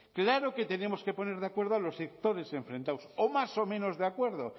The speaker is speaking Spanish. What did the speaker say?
claro que tenemos que poner de acuerdo a los sectores enfrentados o más o menos de acuerdo